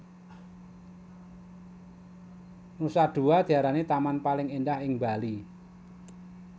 Nusa Dua diarani taman paling endah ing Bali